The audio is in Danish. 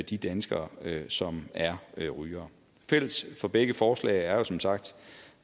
de danskere som er rygere fælles for begge forslag er jo som sagt